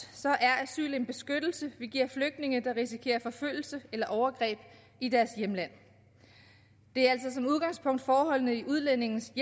er asyl en beskyttelse vi giver flygtninge der risikerer forfølgelse eller overgreb i deres hjemland det er altså som udgangspunkt forholdene i udlændingens